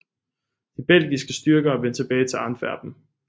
De belgiske styrker vendte tilbage til Antwerpen